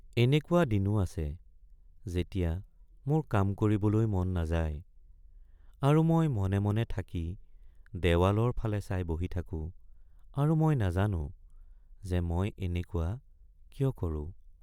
এনেকুৱা দিনো আছে যেতিয়া মোৰ কাম কৰিবলৈ মন নাযায় আৰু মই মনে মনে থাকি দেৱালৰ ফালে চাই বহি থাকো আৰু মই নাজানো যে মই এনেকুৱা কিয় কৰো।